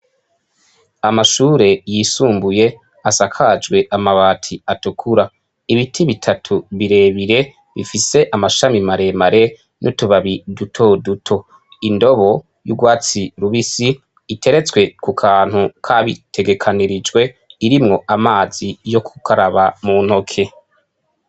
Amashure yisumbuye asakajwe amabati atukura, ibiti bitatu bire bire bifise amashami mare mare n'utubabi duto duto, indobo y'urwatsi rubisi iteretswe ku kantu kabitegekanyirijwe irimwo amazi yo gukaraba mu ntoke.